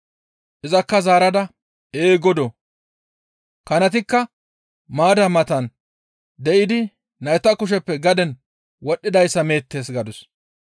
Izakka zaarada, «Ee Godoo! Kanatikka maadda matan de7idi nayta kusheppe gaden wodhdhidayssa meettes» gadus.